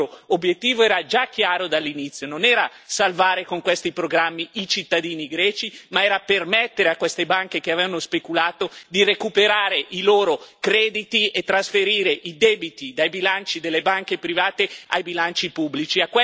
Il vostro obiettivo era già chiaro dall'inizio non era salvare con questi programmi i cittadini greci, ma era permettere a queste banche che avevano speculato di recuperare i loro crediti e trasferire i debiti dai bilanci delle banche private ai bilanci pubblici.